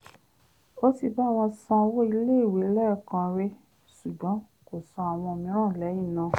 ó ti bá wọn san owó iléèwé lẹ́ẹ̀kan rí ṣùgbọ́n kò san àwọn mìíràn lẹ́yìn náà